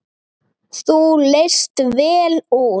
Þú leist vel út.